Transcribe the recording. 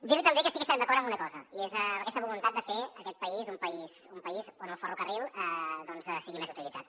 dir li també que sí que estarem d’acord en una cosa i és amb aquesta voluntat de fer d’aquest país un país on el ferrocarril doncs sigui més utilitzat